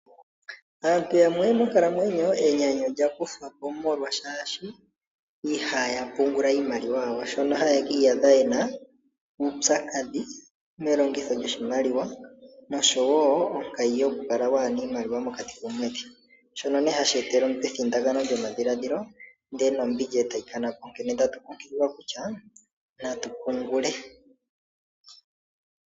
Antu yamwe monkalamwenyo enyanyu olya kuthapo molwa shashi ihaya pungula iimaliwa yawo, shono ha yeki iyadha yena uupyakadhi melongitho lyoshimaliwa noshowo onkayi yoku kala wana iimaliwa mokati komwedhi. Shono hashi etele omuntu evundakano lyomadhiladhilo ndele nombili etayi kanapo mpono tatu kunkuliwa kutya natu pungule.